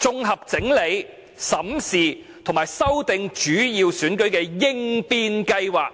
綜合整埋、審視和修訂主要選舉的應變計劃。